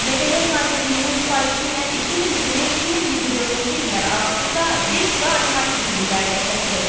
Mədəniyyət Nazirliyinin sifarişi ilə 2020-2024-cü illər arasında bir sıra animasiya filmləri də çəkilib.